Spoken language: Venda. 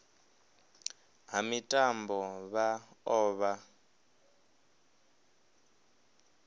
ha mitambo vha o vha